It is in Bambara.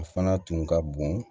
A fana tun ka bon